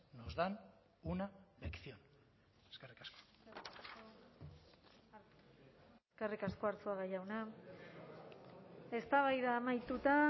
nos dan una lección eskerrik asko eskerrik asko arzuaga jauna eztabaida amaituta